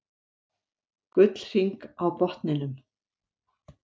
Gullhring á botninum.